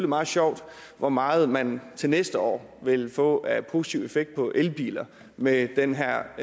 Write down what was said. meget sjovt hvor meget man til næste år vil få af positiv effekt på elbiler med den her